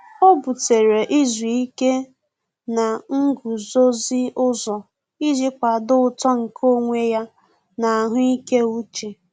Ọ́ bùtéré izu ike na nguzozi ụzọ iji kwàdòọ́ uto nke onwe ya na ahụ́ị́ké úchè.